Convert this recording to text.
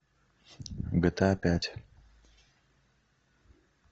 гта пять